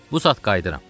Bu saat qayıdıram.